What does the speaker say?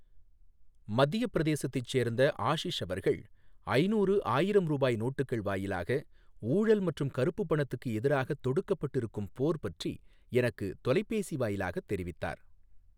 மத்திய பிரதேசத்தைச் சேர்ந்த ஆஷீஷ் அவர்கள் ஐநூறு ,ஆயிரம் ரூபாய் நோட்டுக்கள் வாயிலாக ஊழல் மற்றும் கருப்புப் பணத்துக்கு எதிராகத் தொடுக்கப்பட்டிருக்கும் போர் பற்றி எனக்குத் தொலைபேசி வாயிலாக தெரிவித்தார்